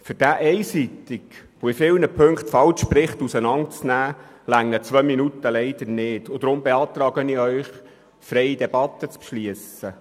Um diesen einseitigen und in vielen Punkten falschen Bericht detailliert zu kommentieren, reichen zwei Minuten leider nicht, weshalb ich gemäss dem vorliegenden Antrag eine freie Debatte beantrage.